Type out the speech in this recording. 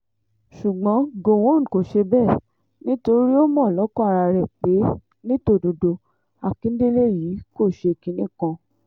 ṣùgbọ́n gọ̀wọ́n kò ṣe bẹ́ẹ̀ nítorí ó mọ̀ lọ́kàn ara rẹ̀ pé ní tòdodo àkíndélẹ̀ yìí kò ṣe kinní kan